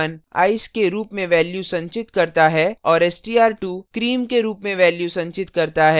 str1 ice के रूप में value संचित करता है और str2 cream के रूप में value संचित करता है